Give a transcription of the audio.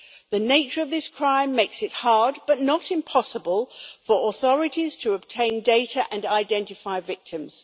The nature of this crime makes it hard, but not impossible, for authorities to obtain data and identify victims.